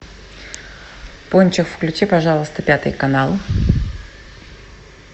пончик включи пожалуйста пятый канал